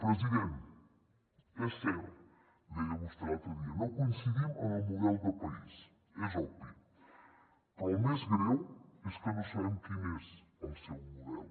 president és cert ho deia vostè l’altre dia no coincidim en el model de país és obvi però el més greu és que no sabem quin és el seu model